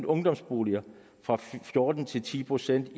ungdomsboliger fra fjorten til ti procent